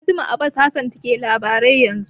Fatima Abbas Hassan ke labarai yanzu.